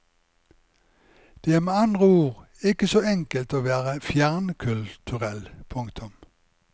Det er med andre ord ikke så enkelt å være fjernkulturell. punktum